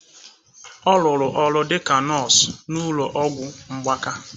Ọ rụrụ ọrụ dị ka nọọsụ n'ụlọ ọgwụ mgbaka.